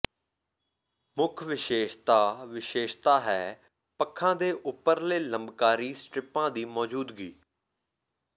ਮੁੱਖ ਵਿਸ਼ੇਸ਼ਤਾ ਵਿਸ਼ੇਸ਼ਤਾ ਹੈ ਪੱਖਾਂ ਦੇ ਉੱਪਰਲੇ ਲੰਬਕਾਰੀ ਸਟਰਿੱਪਾਂ ਦੀ ਮੌਜੂਦਗੀ